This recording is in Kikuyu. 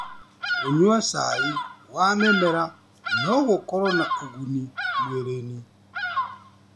Kũnyua cai wa mĩmera nogũkorwo na ũguni mwĩrĩnĩ .